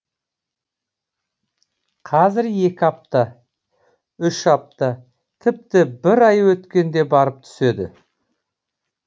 қазір екі апта үш апта тіпті бір ай өткенде барып түседі